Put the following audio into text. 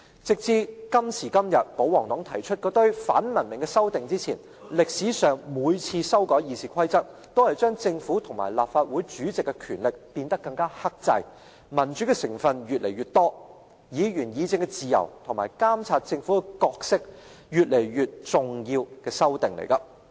直至今時今日，保皇黨提出那些反文明的修訂前，歷史上每次修改《議事規則》，都是將政府與立法會主席的權力變得更克制、民主成分越來越多、議員議政的自由與監察政府的角色越來越重要的修訂。